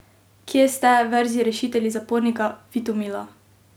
Kje ste, verzi rešitelji zapornika Vitomila?